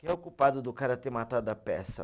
Quem é o culpado do cara ter matado a peça?